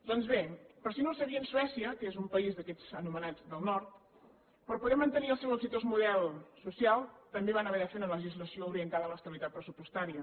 doncs bé per si no ho sabien suècia que és un país d’aquests anomenats del nord per poder mantenir el seu exitós model social també van haver de fer una legislació orientada a l’estabilitat pressupostària